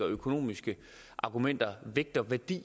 økonomiske argumenter vægt og værdi